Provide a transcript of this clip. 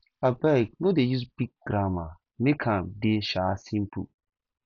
abeg no dey use dey use big grammar make am dey um simple